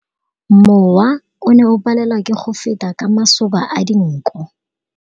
Mowa o ne o palelwa ke go feta ka masoba a dinko.